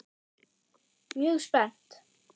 Mjög spennt.